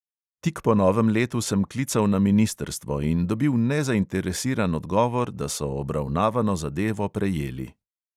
Tik po novem letu sem klical na ministrstvo in dobil nezainteresiran odgovor, da so obravnavano zadevo prejeli.